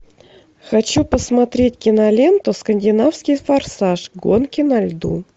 хочу посмотреть киноленту скандинавский форсаж гонки на льду